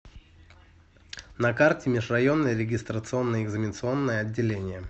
на карте межрайонное регистрационно экзаменационное отделение